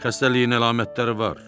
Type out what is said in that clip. Xəstəliyin əlamətləri var.